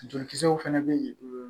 Jolikisɛw fana bɛ yen